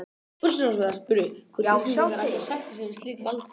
Forsætisráðherra spurði, hvort Íslendingar ættu að sætta sig við slíkt valdboð